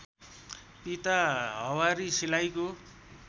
पिता हवारी सिलाइको